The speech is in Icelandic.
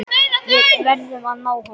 Við verðum að ná honum.